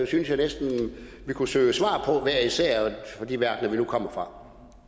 synes jeg næsten vi kunne søge svar på hver især i de verdener vi nu kommer fra